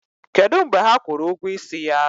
Kedu mgbe ha kwụrụ ụgwọ ịsị ya?